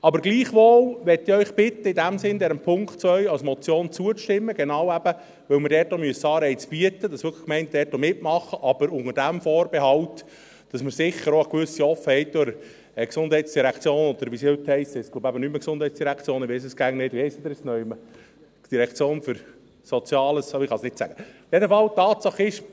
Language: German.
Aber gleichwohl möchte ich Sie bitten, in diesem Sinne dem Punkt 2 als Motion zuzustimmen – eben genau deshalb, weil wir auch Anreize bieten müssen, damit die Gemeinden dort auch wirklich mitmachen, aber unter dem Vorbehalt, dass wir sicher auch eine gewisse Offenheit der GSI haben.